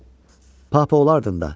Papa olardım da.